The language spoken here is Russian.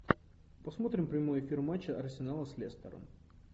посмотрим прямой эфир матча арсенала с лестером